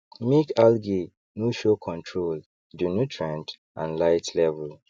make algae no showcontrol the nutrient and light level